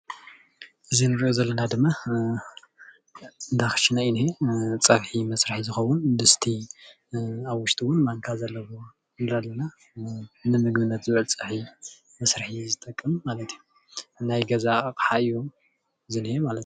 እዚ እንሪኦ ዘለና ድማ እንዳ ክሽነ እዩ ዝኒሀ ፀብሒ መስርሒ ዝከውን ድስቲ ኣብ ውሽጡ እውን ማንካ ዘለዎ ንምግብነት ዝውዕል ፀብሒ መስርሒ ዝጠቅም ማለት እዩ ናይ ገዛ ኣቅሓ እዩ ዝኒሀ፡፡